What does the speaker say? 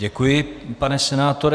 Děkuji, pane senátore.